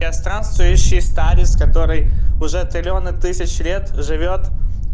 я странствующий старец который уже триллионы тысяч лет живёт